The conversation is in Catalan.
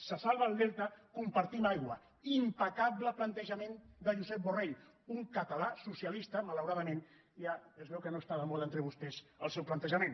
se salva el delta compartim aigua impecable plantejament de josep borrell un català socialista malauradament ja es veu que no està de moda entre vostès el seu plantejament